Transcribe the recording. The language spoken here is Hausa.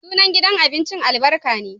Sunan gidan abincin Albaik ne